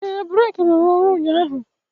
ee, breeki rụrụ ọrụ ụnyaahụ.